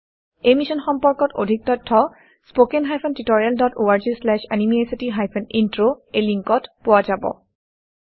এই মিশ্যন সম্পৰ্কত অধিক তথ্য spoken hyphen tutorial dot org slash এনএমইআইচিত হাইফেন ইন্ট্ৰ লিংকত পোৱা যাব